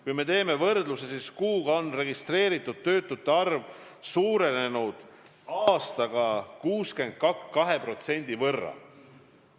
Kui me teeme võrdluse, siis kuuga on registreeritud töötute arv suurenenud nii palju, et see on 62% suurem kui mullu.